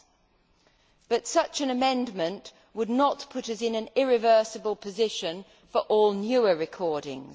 However, such an amendment would not put us in an irreversible position for all newer recordings.